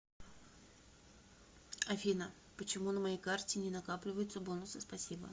афина почему на моей карте не накапливаются бонусы спасибо